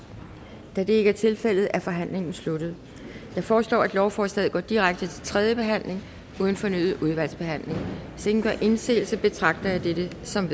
da det ikke er tilfældet er forhandlingen sluttet jeg foreslår at lovforslaget går direkte til tredje behandling uden fornyet udvalgsbehandling hvis ingen gør indsigelse betragter jeg dette som